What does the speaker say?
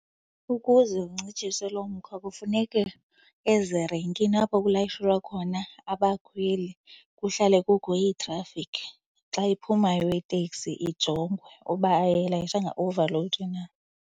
Ukuze kuncitshiswe lo mkhwa kufuneke ezirenkini apho kulayishelwa khona abakhweli kuhlale kukho iitrafikhi. Xa iphumayo iteksi ijongwe uba ayilayishanga overload na.